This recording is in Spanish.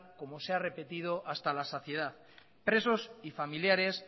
como se ha repetido hasta la saciedad presos y familiares